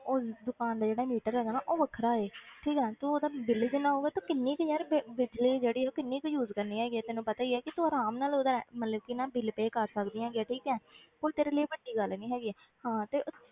ਉਸ ਦੁਕਾਨ ਦਾ ਜਿਹੜਾ ਮੀਟਰ ਹੈਗਾ ਨਾ ਉਹ ਵੱਖਰਾ ਹੈ ਠੀਕ ਹੈ ਤੂੰ ਉਹਦਾ ਬਿਲ ਜਿੰਨਾ ਆਊਗਾ ਤੂੰ ਕਿੰਨੀ ਕੁ ਯਾਰ ਬਿ~ ਬਿਜ਼ਲੀ ਜਿਹੜੀ ਆ ਉਹ ਕਿੰਨੀ ਕੁ use ਕਰਨੀ ਹੈਗੀ ਹੈ ਤੈਨੂੰ ਪਤਾ ਹੀ ਹੈ ਕਿ ਤੂੰ ਆਰਾਮ ਨਾਲ ਉਹਦਾ ਮਤਲਬ ਕਿ ਨਾ ਬਿਲ pay ਕਰ ਸਕਦੀ ਹੈਗੀ ਹੈ ਠੀਕ ਹੈ ਕੋਈ ਤੇਰੇ ਲਈ ਵੱਡੀ ਗੱਲ ਨੀ ਹੈਗੀ ਹਾਂ ਤੇ